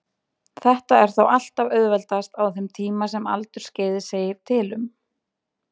Þetta er þó alltaf auðveldast á þeim tíma sem aldursskeiðið segir til um.